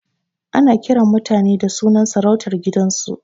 Ana kiran mutane da sunan sarautar gidansu